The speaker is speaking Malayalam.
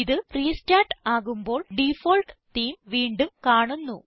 ഇത് റെസ്റ്റാർട്ട് ആകുമ്പോൾ ഡിഫോൾട്ട് തേമെ വീണ്ടും കാണുന്നു